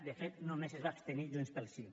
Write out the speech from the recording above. de fet només es va abstenir junts pel sí